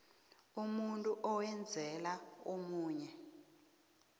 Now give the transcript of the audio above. umuntu owenzela omunye